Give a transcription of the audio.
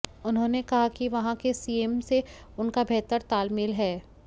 उन्होंने कहा कि वहां के सीएम से उनका बेहतर ताल मेल है